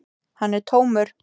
Hann er tómur.